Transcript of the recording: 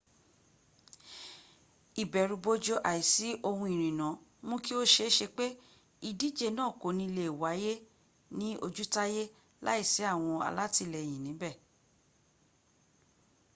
ìbẹ̀rùbojo àísi ohun ìrìnnà mú kí o sẹésẹ pe ìdíjẹ náà kò ní lẹ wáyẹ́ ní ojútáyẹ́ làísí àwọn alátìlẹyìn níbẹ̀